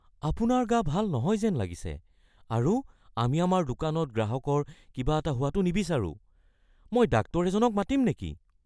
আপোনাৰ গা ভাল নহয় যেন লাগিছে আৰু আমি আমাৰ দোকানত গ্ৰাহকৰ কিবা এটা হোৱাটো নিবিচাৰোঁ। মই ডাক্তৰ এজনক মাতিম নেকি? (ষ্ট'ৰ ক্লাৰ্ক)